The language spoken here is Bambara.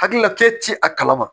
Hakilila ke ti a kalama